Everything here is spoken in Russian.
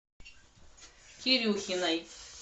кирюхиной